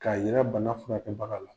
K'a yira bana furakɛbaga la.